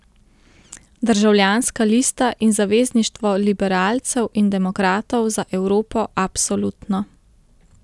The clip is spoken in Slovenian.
Državljanska lista in Zavezništvo liberalcev in demokratov za Evropo Absolutno.